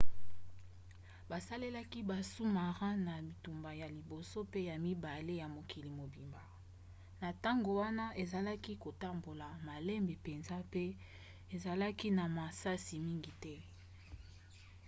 basalelaki basous-marins na bitumba ya liboso pe ya mibale ye mokili mobimba. na ntango wana ezalaki kotambola malembe mpenza pe ezalaki na masasi mingi te